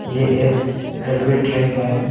ये एक railway track है।